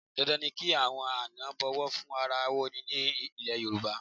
Dandan ni kí àwọn àna bọ̀wọ̀ fún ara wọn ní ilẹ̀ Yorùbá.